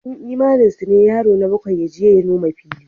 A cikin imaninsu ne yaro na bakwai ya je ya noma fili.